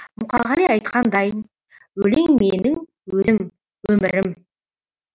мұқағали айтқандайын өлең менің өзім өмірім